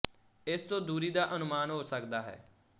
ਇਸ ਤੋਂ ਦੂਰੀ ਦਾ ਅਨੁਮਾਨ ਹੋ ਸਕਦਾ ਹੈ